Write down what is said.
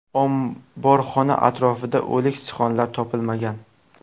Omborxona atrofida o‘lik sichqonlar topilmagan.